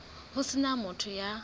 ho se na motho ya